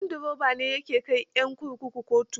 Ganduroba ne ya ke kai 'yan kurkuku kotu.